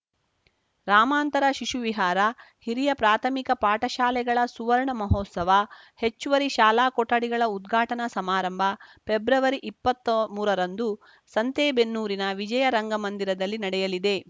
ರಾಮಾಂತರ ಶಿಶುವಿಹಾರ ಹಿರಿಯ ಪ್ರಾಥಮಿಕ ಪಾಠಶಾಲೆಗಳ ಸುವರ್ಣ ಮಹೋತ್ಸವ ಹೆಚ್ಚುವರಿ ಶಾಲಾ ಕೊಠಡಿಗಳ ಉದ್ಘಾಟನಾ ಸಮಾರಂಭ ಪೆಬ್ರವರಿ ಇಪ್ಪತ್ತಾ ಮೂರರಂದು ಸಂತೇಬೆನ್ನೂರಿನ ವಿಜಯ ರಂಗಮಂದಿರದಲ್ಲಿ ನಡೆಯಲಿದೆ